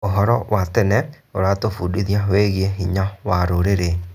ũhoro wa tene ũratũbundithia wĩgiĩ hinya wa rũrĩrĩ.